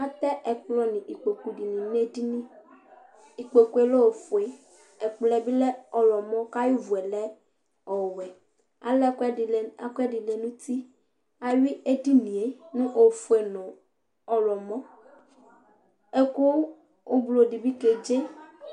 Atɛ ɛkplɔ nʋ ikpoku dɩnɩ nʋ edini Ikpoku yɛ lɛ ofue, ɛkplɔ yɛ bɩ lɛ ɔɣlɔmɔ kʋ ayʋ ʋvʋ yɛ lɛ ɔwɛ Ala ɛkʋɛdɩ lɛ ɛkʋɛdɩ lɛ nʋ uti Ayʋɩ edini yɛ nʋ ofue nʋ ɔɣlɔmɔ Ɛkʋ ʋblo dɩ bɩ kedze